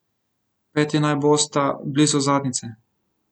Peti naj bosta blizu zadnjice.